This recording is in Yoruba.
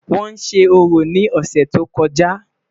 wón sé orò ni ọsẹ tó kojá